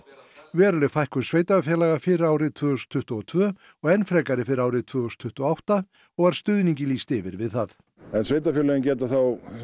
veruleg fækkun sveitarfélaga fyrir árið tvö þúsund tuttugu og tvö og enn frekar fyrir árið tvö þúsund tuttugu og átta og var stuðningi lýst yfir við það en sveitarfélögin geta þá